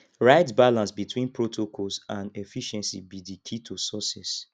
right balance between protocols and efficiency be di key to success